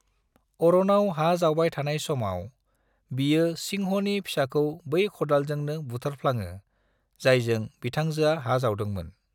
अरोनाव हा जावबाय थानाय समाव, बियो सिंह'नि फिसाखौ बै खदालजोंनो बुथारफ्लाङो जायजों बिथांजोआ हा जावदों मोन।